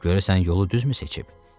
Görəsən yolu düzmü seçib?